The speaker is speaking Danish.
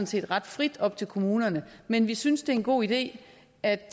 set ret frit op til kommunerne men vi synes at det er en god idé at